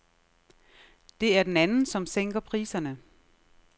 Det er den anden, som sænker priserne.